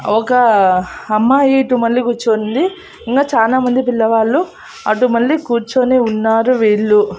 ఒక అమ్మాయి ఇటు మళ్ళి కూర్చొని ఉంది ఇంకా చానా మంది పిల్లవాళ్ళు అటు మళ్ళి కూర్చొని ఉన్నారు వీళ్ళు.